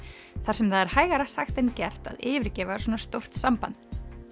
þar sem það er hægara sagt en gert að yfirgefa svona stórt samband